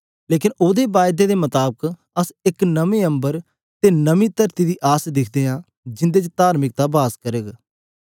लेकन ओहदी हरज्ञा दे लेखा आसे इक न अम्बर अते नेई तरती दी आस दिखदे हां जिन्दे च तार्मिकता वास करग